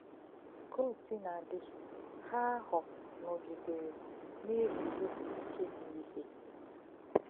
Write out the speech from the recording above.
Ka ò̄ sìnà dì̄, Hà áhụ̄ nọ̀gí̄dèré ná-è̄gùzósí íké n’íhè.